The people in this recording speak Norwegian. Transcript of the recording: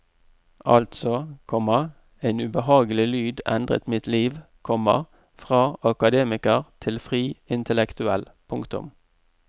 Altså, komma en ubehagelig lyd endret mitt liv, komma fra akademiker til fri intellektuell. punktum